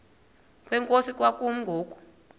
kwenkosi kwakumi ngoku